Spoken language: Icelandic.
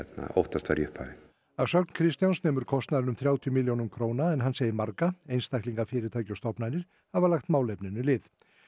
óttast var í upphafi að sögn Kristjáns nemur kostnaðurinn um þrjátíu milljónum króna en hann segir marga einstaklinga fyrirtæki og stofnanir hafa lagt málefninu lið